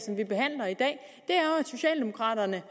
socialdemokraterne